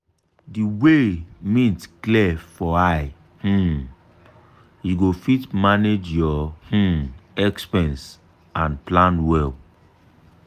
di way mint clear for eye um you go fit manage your um expense and plan well.